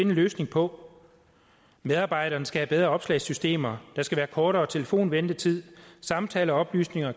en løsning på medarbejderne skal have bedre opslagssystemer der skal være kortere telefonventetid samtaleoplysninger